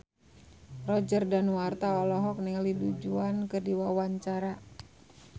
Roger Danuarta olohok ningali Du Juan keur diwawancara